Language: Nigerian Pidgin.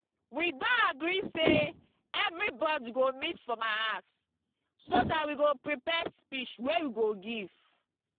we don agree say everybody go meet for my house so dat we go prepare speech wey we go give